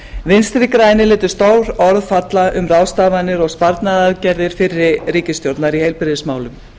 vinstri grænir létu stór orð falla um ráðstafanir og sparnaðaraðgerðir fyrri ríkisstjórnar í heilbrigðismálum